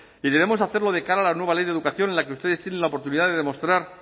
y debemos hacerlo de cara a la nueva ley de educación en la que ustedes tienen la oportunidad de demostrar